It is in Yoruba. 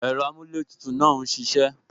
Ẹ̀rọ amuletutu náà ń ṣisẹ